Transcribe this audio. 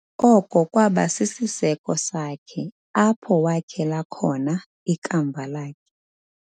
Oko kwaba sisiseko sakhe apho wakhela khona ikamva lakhe.